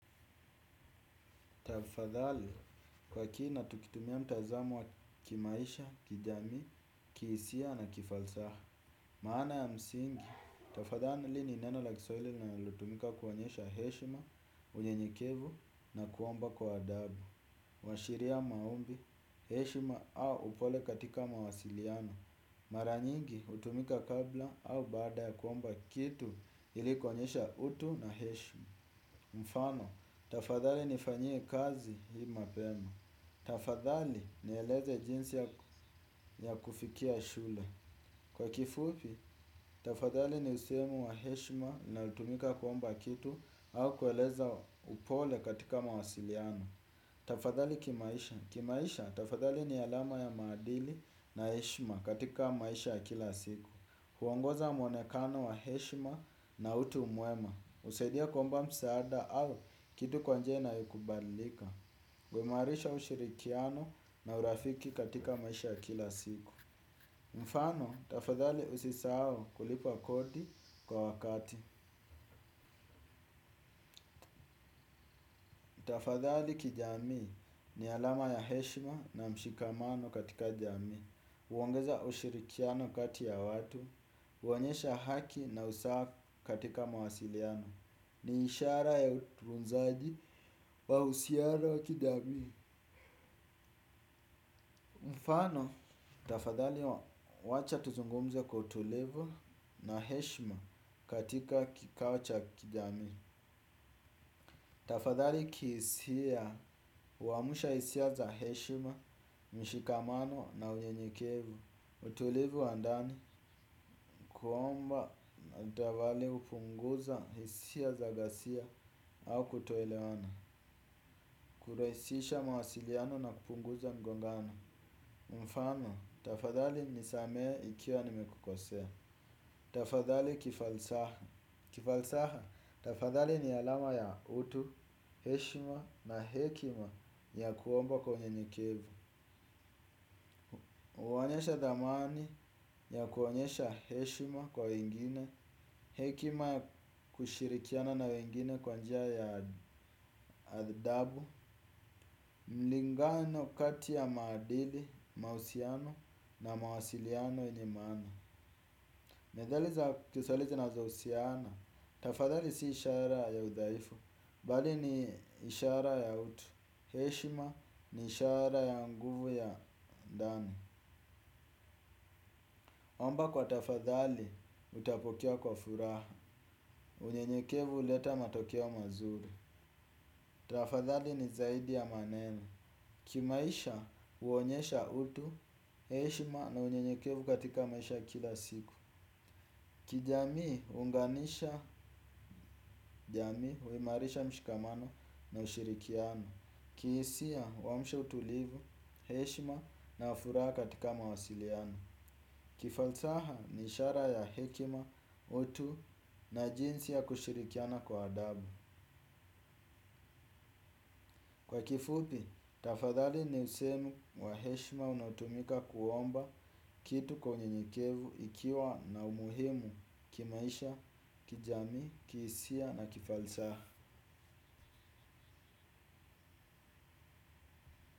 Tafadhali, kwa kiina tukitumia mtazamo wa kimaisha, kijami, kisia na kifalsaha. Maana ya msingi, tafadhali ni neno la kiswahili linalotumika kuwonyesha heshima, unyenyekevu na kuwomba kwa adabu. Washiria maombi, heshima au upole katika mawasiliano. Mara nyingi, utumika kabla au bada ya kuwomba kitu ilikuwonyesha utu na heshima. Mfano, tafadhali nifanyie kazi hii mapema. Tafadhali nieleze jinsi ya kufikia shule. Kwa kifupi, tafadhali ni siemu wa heshima nao tumika kuomba kitu au kueleza upole katika mawasiliano. Tafadhali kimaisha. Kimaisha, tafadhali ni alama ya madili na heshima katika maisha kila siku. Huongoza mwonekano wa heshima na utu umwema. Usaidia kuomba msaada au kitu kwa njia inayokubalika wemarisha ushirikiano na urafiki katika maisha ya kila siku. Mfano, tafadhali usisao kulipa kodi kwa wakati. Tafadhali kijami ni alama ya heshima na mshikamano katika jami. Uwongeza ushirikiano katika ya watu. Uwonyesha haki na usaha katika mawasiliano. Ni ishara ya utunzaji wa usiano wa kijami. Mfano, tafadhali wacha tuzungumze kwa utulivu na heshima katika kikawo cha kijami. Tafadhali kisia, uamusha isia za heshima, mshikamano na uyenyekevu. Utulivu wandani kuomba na davali upunguza hisia za gasia au kutoelewana. Kuraisisha mawasiliano na kupunguza ngongano. Mfano, tafadhali nisamee ikiwa nimekukosea. Tafadhali kifalsaha. Kifalsaha, tafadhali ni alama ya utu, heshima na hekima ya kuomba kwa unyenyekevu. Uwaonyesha dhamani ya kuonyesha heshima kwa wengine. Hekima kushirikiana na wengine kwa njia ya adhdabu. Mlingano kati ya maadili, mausiano na mawasiliano yenye maana. Medhali za kiswaili zinazo usiana. Tafadhali si ishara ya udhaifu. Bali ni ishara ya utu. Heshima ni ishara ya nguvu ya ndani. Omba kwa tafadhali utapokea kwa furaha. Unyenyekevu huleta matokeo mazuri. Tafadhali ni zaidi ya maneno. Kimaisha uonyesha utu. Heshima na unyenyekevu katika maisha ya kila siku. Kijamii huunganisha jamii. Uimarisha mshikamano na ushirikiano. Kiisia wamsha utulivu. Heshima na furaa katika mawasiliano. Kifalsaha nishara ya hekima. Utu na jinsi ya kushirikiana kwa adabu. Kwa kifupi, tafadhali niusemu. Wa heshma unaotumika kuomba kitu kwa unyenyekevu ikiwa na umuhimu. Kimaisha, kijamii, kiisia na kifalsaha.